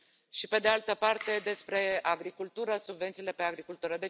și, pe de altă parte, despre agricultură, subvențiile pe agricultură.